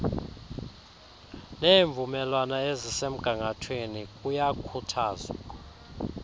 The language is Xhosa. neemvumelwano ezisemgangathweni kuyakhuthazwa